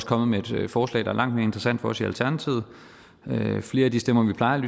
kommet med et forslag der er langt mere interessant for os i alternativet flere af de stemmer vi plejer